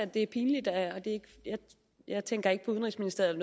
det er pinligt og jeg tænker ikke på udenrigsministeriet